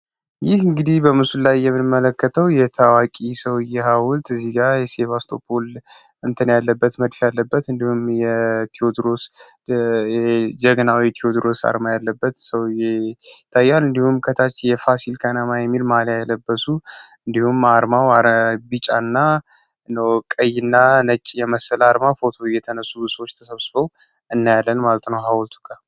ይህ እንግዲህ በምስል ላይ የምመለከተው የታዋቂ ሰውየው ሀውልት እዚ ጋር የባስቶፖል ያለበት ያለበት እንዲሁ አርማ ያለበት ሰው ይታያል እንዲሁም ከታች የፋሲካ እንዲሁም አርማው ቢጫ እና ነጭ የመሰለ አርማ ፎቶ እየተነሱ ሰዎች ተሰብስበው እናያለን